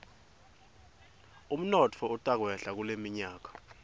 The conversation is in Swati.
umnotfo utakwehla kuleminyaka